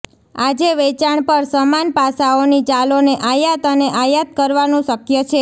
આજે વેચાણ પર સમાન પાસાઓની ચલોને આયાત અને આયાત કરવાનું શક્ય છે